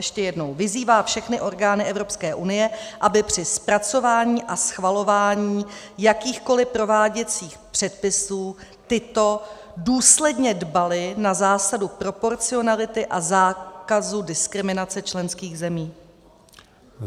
Ještě jednou: "Vyzývá všechny orgány Evropské unie, aby při zpracování a schvalování jakýchkoli prováděcích předpisů tyto důsledně dbaly na zásadu proporcionality a zákazu diskriminace členských zemí."